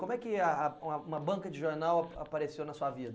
Como é que é a a uma uma banca de jornal apareceu na sua vida?